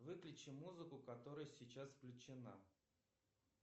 выключи музыку которая сейчас включена